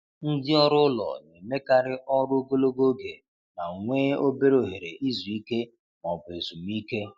Ndị ọrụ ụlọ na-emekarị ọrụ ogologo oge ma nwee obere ohere izu ike ma ọ bụ ezumike.